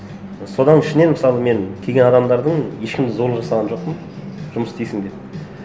содан ішінен мысалы мен келген адамдардың ешкімді зорлық жасаған жоқпын жұмыс істейсің деп